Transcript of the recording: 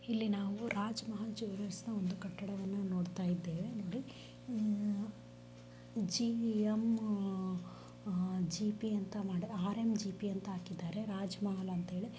ಇಲ್ಲಿ ನಾವು ರಾಜಮಹಲ್ ಜ್ವಲ್ಲೆರ್ಸ್ ನಾ ಒಂದು ಕಟ್ಟಡವಣ್ಣ ನೋಡಿತಾಇದೆವೆ ಜಿ_ಮ್_ಜಿ_ಪಿ ಆರ್_ಮ್_ಜಿ_ಪಿ ಅಂತ ಹಾಕಿದ್ದರೆ ರಾಜಮಹಲ್ಅಂತಹೇಳಿ.